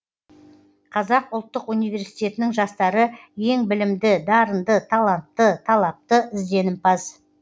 қазақ ұлттық университетінің жастары ең білімді дарынды талантты талапты ізденімпаз